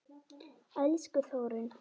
Elsku Þórunn.